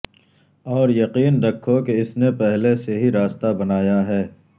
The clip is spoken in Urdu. اور یقین رکھو کہ اس نے پہلے سے ہی راستہ بنایا ہے